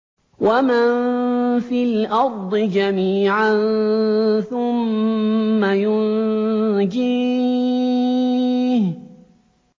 وَمَن فِي الْأَرْضِ جَمِيعًا ثُمَّ يُنجِيهِ